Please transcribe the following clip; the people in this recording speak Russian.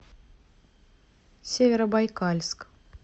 северобайкальск